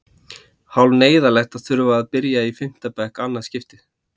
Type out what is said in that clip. Hálf neyðarlegt að þurfa að byrja í fimmta bekk í annað skipti.